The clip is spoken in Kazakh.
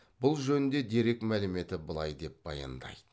бұл жөнінде дерек мәліметі былай деп баяндайды